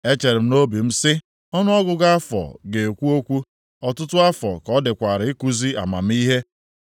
Echere m nʼobi m sị, ‘Ọnụọgụgụ afọ ga-ekwu okwu; ọtụtụ afọ ka ọ dịkwara ikuzi amamihe.’